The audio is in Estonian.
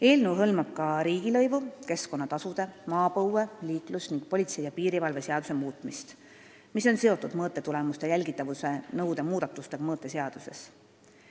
Eelnõu hõlmab ka riigilõivu-, keskkonnatasude, maapõue-, liiklus- ning politsei ja piirivalve seaduse muutmist, mis on seotud mõõtetulemuste jälgitavuse nõude muudatustega mõõteseaduses.